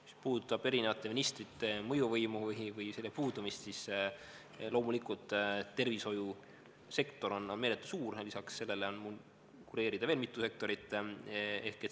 Mis puudutab erinevate ministrite mõjuvõimu või selle puudumist, siis loomulikult tervishoiusektor on meeletult suur, lisaks sellele on mu kureerida veel mitu sektorit.